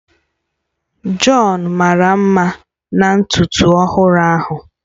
John mara mma na ntutu ọhụrụ ahụ